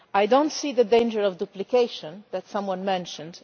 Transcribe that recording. I do not see the danger of duplication that someone mentioned.